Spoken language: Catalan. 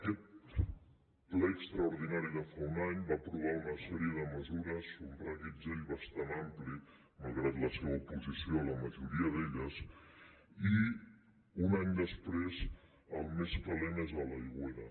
aquest ple extraordinari de fa un any va aprovar una sèrie de mesures un reguitzell bastant ampli malgrat la seva oposició a la majoria d’elles i un any després el més calent és a l’aigüera